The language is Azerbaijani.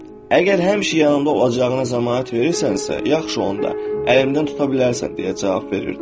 Əgər həmişə yanımda olacağına zəmanət verirsənsə, yaxşı onda əlimdən tuta bilərsən deyə cavab verirdim.